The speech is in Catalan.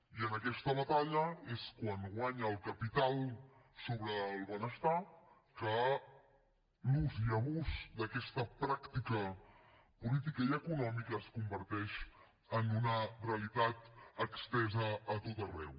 i és en aquesta batalla quan guanya el capital sobre el benestar que l’ús i abús d’aquesta pràctica política i econòmica es converteix en una realitat estesa a tot arreu